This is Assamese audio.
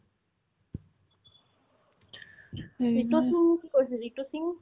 সেটোতো কি কৈছে জিতু সিং